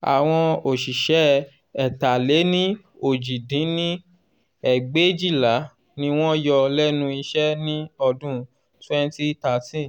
àwọn òṣìṣẹ́ ẹ̀ta-lé-ní-ojì dín ní ẹgbẹ́éjìlá ni wọ́n yọ lẹ́nu iṣẹ́ ní ọdún twenty thirteen